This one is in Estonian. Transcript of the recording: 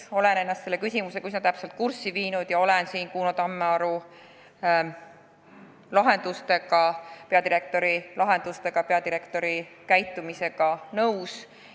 Olen ennast selle teemaga üsna täpselt kurssi viinud ja olen peadirektor Kuno Tammearu lahendustega nõus.